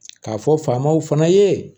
K'a fɔ faamaw fana ye